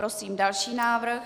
Prosím další návrh.